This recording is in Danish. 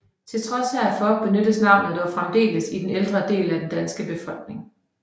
Til trods herfor benyttes navnet dog fremdeles i den ældre del af den danske befolkning